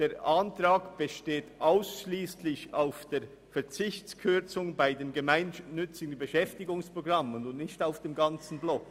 Der Minderheitsantrag bezieht sich nur auf den Verzicht der Kürzung bei den gemeinnützigen Beschäftigungsprogrammen und nicht auf den ganzen Block.